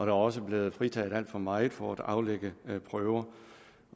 er også blevet fritaget alt for meget for at aflægge prøver